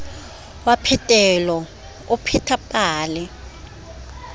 wa phetelo o pheta pale